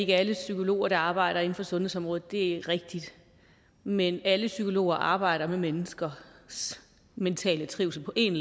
er alle psykologer der arbejder inden for sundhedsområdet er rigtigt men alle psykologer arbejder med menneskers mentale trivsel på en